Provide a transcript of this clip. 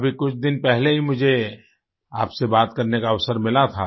अभी कुछ दिन पहले ही आपसे बात करने का अवसर मिला था